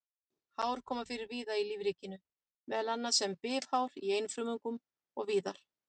Hár koma fyrir víða í lífríkinu, meðal annars sem bifhár í einfrumungum og víðar.